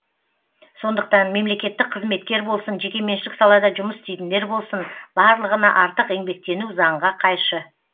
сондықтан мемлекеттік қызметкер болсын жекеменшік салада жұмыс істейтіндер болсын барлығына артық еңбектену заңға қайшы